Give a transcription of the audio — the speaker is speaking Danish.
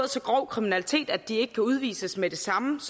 så grov kriminalitet at de ikke kan udvises med det samme